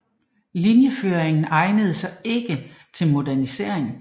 Linjeføringen egnede sig ikke til modernisering